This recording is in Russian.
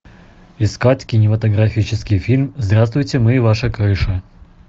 искать кинематографический фильм здравствуйте мы ваша крыша